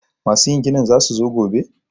masu yin ginin za su zo gobe?